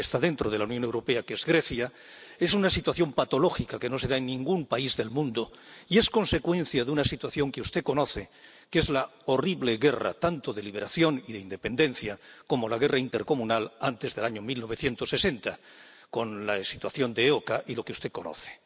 y otro que está dentro de la Unión Europea, que es Grecia—, lo que vemos es una situación patológica que no se da en ningún país del mundo y es consecuencia de una situación que usted conoce, que es la horrible guerra tanto de liberación y de independencia como la guerra intercomunal antes del año 1960, con la situación de la EOKA y lo que usted conoce.